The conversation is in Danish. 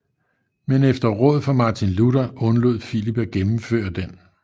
Men efter råd fra Martin Luther undlod Philip at gennemføre den